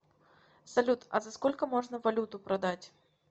салют а за сколько можно валюту продать